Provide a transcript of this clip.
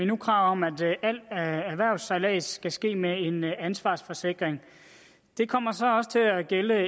nu krav om at al erhvervssejlads skal ske med en ansvarsforsikring det kommer så også til at gælde